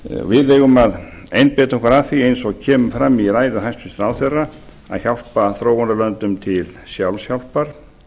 við eigum að einbeita okkur að því eins og kemur fram í ræðu hæstvirts ráðherra að hjálpa þróunarlöndum til sjálfshjálpar